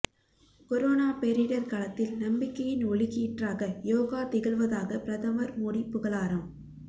corona பேரிடர் காலத்தில் நம்பிக்கையின் ஒளிக்கீற்றாக யோகா திகழ்வதாக பிரதமர் மோடி புகழாரம்